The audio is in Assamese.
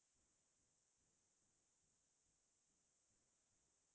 তাৰ পিছ্তে মই ক্'ম মণিকুন্তলা ভট্টাচাৰ্যৰ